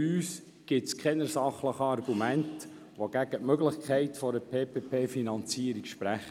Es gibt für uns keine sachlichen Argumente, die gegen die Möglichkeit einer PPP-Finanzierung sprechen.